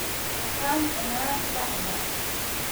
Waxaan cunnaa quraacda.